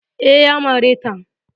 Eh, Ya mare ta